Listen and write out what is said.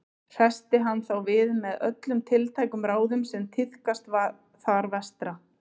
Hressti hann þá við með öllum tiltækum ráðum sem tíðkast þar vestra.